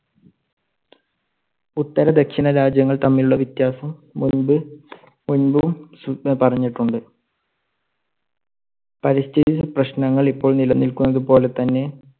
ഉത്തരദക്ഷിണ രാജ്യങ്ങൾ തമ്മിലുള്ള വ്യത്യാസം മുൻപും, മുൻപും പറഞ്ഞിട്ടുണ്ട്. പരിസ്ഥിതി പ്രശ്നങ്ങൾ ഇപ്പോൾ നിലനിൽക്കുന്നത് പോലെ തന്നെ.